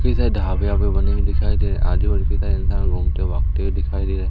इधर ढाबे वाबे बने हुए दिखाई दे रहैं हैं आजु-बाजु घूमते भागते हुए दिखाई दे रहे हैं।